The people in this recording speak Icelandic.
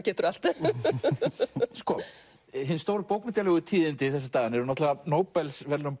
getur allt sko hin stóru bókmenntalegu tíðindi þessa dagana eru náttúrulega Nóbelsverðlaun